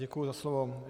Děkuji za slovo.